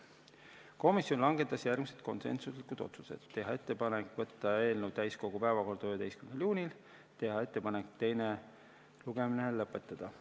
Komisjon langetas järgmised konsensuslikud otsused: teha ettepanek võtta eelnõu täiskogu päevakorda 11. juuniks ja teha ettepanek teine lugemine lõpetada.